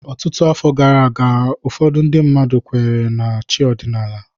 Ọtụtụ afọ gara aga ndị mmadụ kweere na chi ọdịnala.